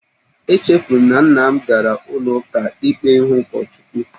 Echefuru m na nna m gara ụlọ ụka ikpe ịhụ ụkọchukwu